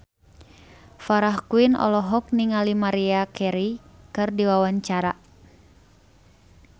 Farah Quinn olohok ningali Maria Carey keur diwawancara